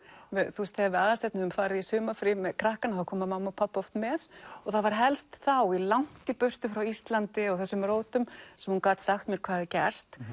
þegar við Aðalsteinn höfum farið í sumarfrí með krakkana þá koma mamma og pabbi oft með og það var helst þá langt í burtu frá Íslandi og þessum rótum sem hún gat sagt mér hvað hafði gerst